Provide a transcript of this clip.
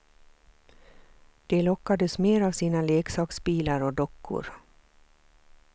De lockades mer av sina leksaksbilar och dockor.